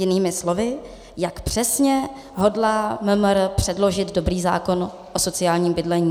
Jinými slovy, jak přesně hodlá MMR předložit dobrý zákon o sociálním bydlení?